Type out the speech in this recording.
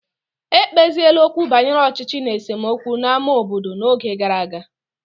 Ekpeziela okwu banyere ọchịchị na esemokwu n'ámá obodo n'oge gara aga